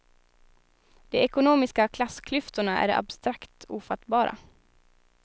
De ekonomiska klassklyftorna är abstrakt ofattbara.